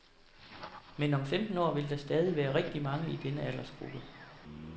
Men om femten år vil der stadig være rigtig mange i denne aldersgruppe.